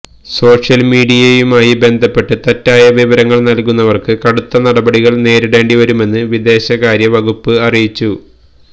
social മീഡിയയുമായി ബന്ധപ്പെട്ട് തെറ്റായ വിവരങ്ങള് നല്കുന്നവര്ക്ക് കടുത്ത നടപടികള് നേരിടേണ്ടിവരുമെന്ന് വിദേശകാര്യ വകുപ്പ് അറിയിച്ചു